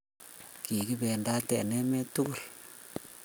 Kigibendate emet tugul